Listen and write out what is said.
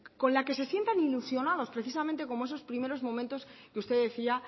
con la que se sientan ilusionados precisamente como esos primero momentos que usted decía